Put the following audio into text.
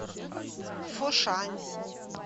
фошань